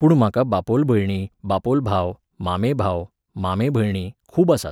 पूण म्हाका बापोल भयणी, बापोल भाव, मामे भाव, मामे भयणी, खूब आसात